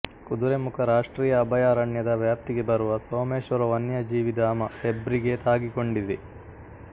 ಕುದುರೆಮುಖ ರಾಷ್ಟ್ರೀಯ ಅಭಯಾರಣ್ಯದ ವ್ಯಾಪ್ತಿಗೆ ಬರುವ ಸೋಮೇಶ್ವರ ವನ್ಯಜೀವಿಧಾಮ ಹೆಬ್ರಿಗೆ ತಾಗಿಕೊಂಡಿದೆ